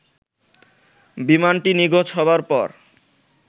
বিমানটি নিখোঁজ হবার পর